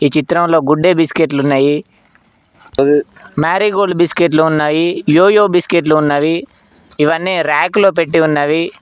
ఈ చిత్రంలో గుడ్డే బిస్కెట్లు ఉన్నాయి మ్యారిగోల్డ్ బిస్కెట్లు ఉన్నాయి యోయో బిస్కెట్లు ఉన్నవి ఇవన్నీ ర్యాక్ లో పెట్టి ఉన్నవి.